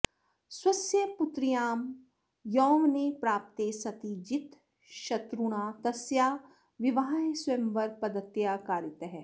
स्वस्य पुत्र्यां यौवने प्राप्ते सति जितशत्रुणा तस्याः विवाहः स्वयंवरपद्धत्या कारितः